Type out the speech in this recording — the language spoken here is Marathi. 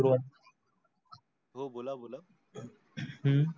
हो बोला बोला.